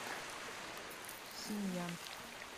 синьян